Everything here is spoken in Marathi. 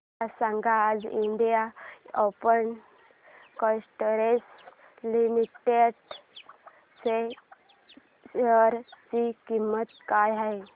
मला सांगा आज इंडियन ऑइल कॉर्पोरेशन लिमिटेड च्या शेअर ची किंमत काय आहे